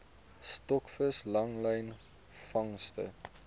stokvis langlyn vangste